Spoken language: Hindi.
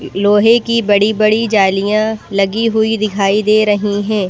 लोहे की बड़ी-बड़ी जालियां लगी हुई दिखाई दे रही हैं।